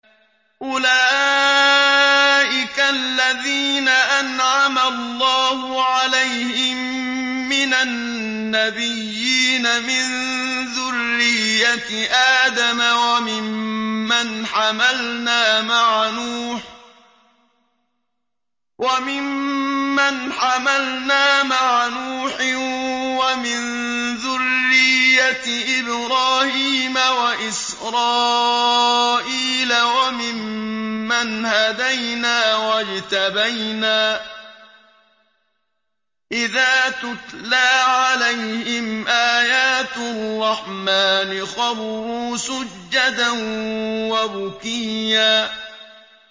أُولَٰئِكَ الَّذِينَ أَنْعَمَ اللَّهُ عَلَيْهِم مِّنَ النَّبِيِّينَ مِن ذُرِّيَّةِ آدَمَ وَمِمَّنْ حَمَلْنَا مَعَ نُوحٍ وَمِن ذُرِّيَّةِ إِبْرَاهِيمَ وَإِسْرَائِيلَ وَمِمَّنْ هَدَيْنَا وَاجْتَبَيْنَا ۚ إِذَا تُتْلَىٰ عَلَيْهِمْ آيَاتُ الرَّحْمَٰنِ خَرُّوا سُجَّدًا وَبُكِيًّا ۩